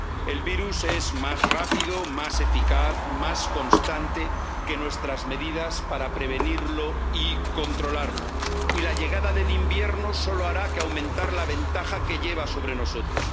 El virus es más rápido, más eficaz, más constante que nuestras medidas para prevenirlo y controlarlo, y la llegada del invierno no hará más que aumentar la ventaja que lleva sobre nosotros.